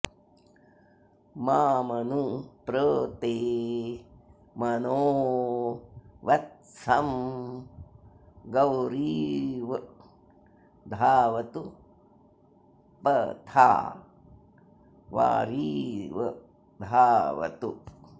मामनु॒ प्र ते॒ मनो॑ व॒त्सं गौरि॑व धावतु प॒था वारि॑व धावतु